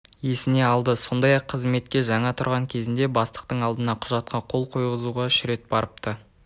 есіне алды сондай-ақ қызметке жаңа тұрған кезінде бастықтың алдына құжатқа қол қойғызуға үш рет барыпты